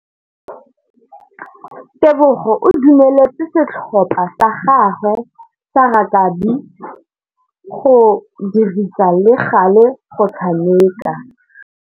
Tebogô o dumeletse setlhopha sa gagwe sa rakabi go dirisa le galê go tshameka.